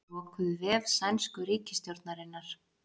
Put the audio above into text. Lokuðu vef sænsku ríkisstjórnarinnar